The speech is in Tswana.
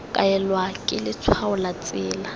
kaelwa ke letshwao la tsela